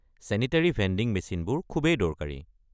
Sanitary vending মেচিনবোৰ খুবেই দৰকাৰী।